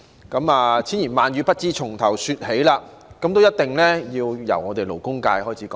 縱有千言萬語，亦不知從何說起，那麼我一定要由我們勞工界開始說起。